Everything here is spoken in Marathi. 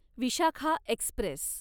विशाखा एक्स्प्रेस